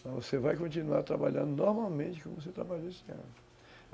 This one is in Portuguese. Então, você vai continuar trabalhando normalmente como você trabalhou este ano.